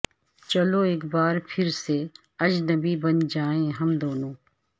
چلو اک بار پھر سے اجنبی بن جائیں ہم دونوں